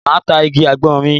Máa ta igi àgbọn mi.